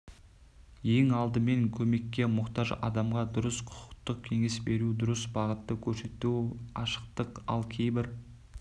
ең алдымен көмекке мұқтаж адамға дұрыс құқықтық кеңес беру дұрыс бағытты көрсету ашықтық ал кейбір